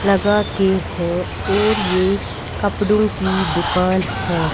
लगा के हैं और ये कपड़ों की दुकान है।